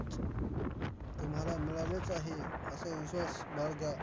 तुम्हाला मिळालेच आहे, असा विश्वास बाळगा.